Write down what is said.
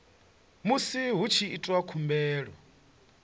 musi hu tshi itwa khumbelo